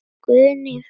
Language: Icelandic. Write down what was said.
Guðný frá Felli.